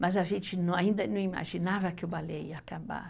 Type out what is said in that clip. Mas a gente não, ainda não imaginava que o balé ia acabar.